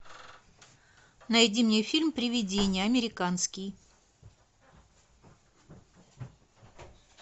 найди мне фильм привидение американский